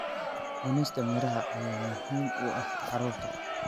Cunista miraha ayaa muhiim u ah carruurta.